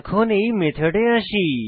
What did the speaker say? এখন এই মেথডে আসি